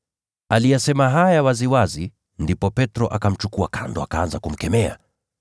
Aliyasema haya waziwazi, ndipo Petro akamchukua kando na akaanza kumkemea.